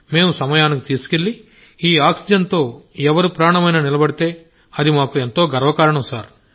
మేం సమయానికి తీసుకువెళ్ళి ఈ ఆక్సిజన్ తో ఎవరి ప్రాణమైనా నిలబడితే అది మాకు ఎంతో గర్వకారణం